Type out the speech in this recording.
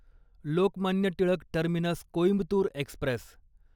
Lokmanya Tilak terminus Coimbatore Express